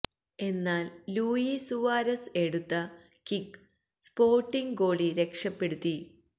എന്നാല് Luis Suarez എടുത്ത kick Sporting goalie രക്ഷപ്പെടുത്തി